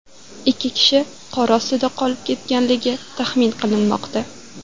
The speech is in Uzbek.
Ikki kishi qor ostida qolib ketganligi taxmin qilinmoqda.